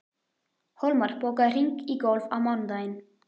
Hólmar, bókaðu hring í golf á mánudaginn.